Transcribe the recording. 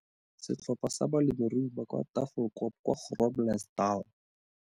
Setlhopha sa balemirui ba kwa Tafelkop kwa Groblersdal.